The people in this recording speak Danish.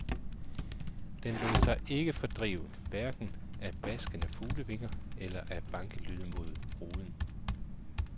Den lod sig ikke fordrive, hverken af baskende fuglevinger eller vore bankelyde mod ruden.